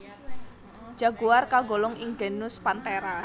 Jaguar kagolong ing genus Panthera